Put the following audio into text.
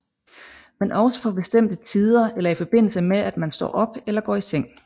Men også på bestemte tider eller i forbindelse med at man står op eller går i seng